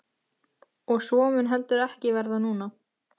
Og svo mun heldur ekki verða núna!